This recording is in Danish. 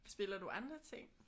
Spiller du andre ting?